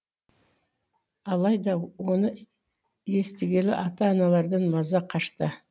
алайда оны естігелі ата аналардан маза қашты